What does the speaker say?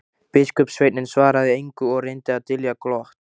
Biskupssveinninn svaraði engu og reyndi að dylja glott.